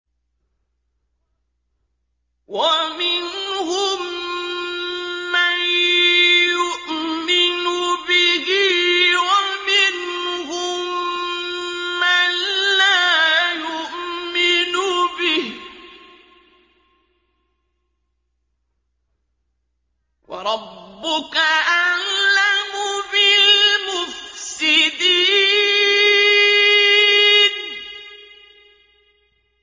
وَمِنْهُم مَّن يُؤْمِنُ بِهِ وَمِنْهُم مَّن لَّا يُؤْمِنُ بِهِ ۚ وَرَبُّكَ أَعْلَمُ بِالْمُفْسِدِينَ